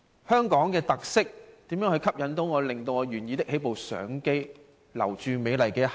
香港究竟有甚麼特色可以吸引我，令我願意拿起相機留住美麗的一刻？